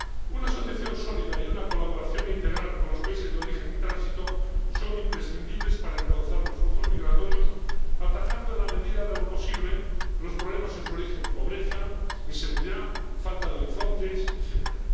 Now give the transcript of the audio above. Una asociación sólida y una colaboración integral con los países de origen y tránsito son imprescindibles para encauzar los flujos migratorios, atajando, en la medida de lo posible, los problemas en su origen —pobreza, inseguridad, falta de horizontes, etcétera—.